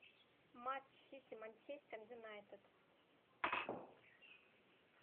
матч сити манчестер юнайтед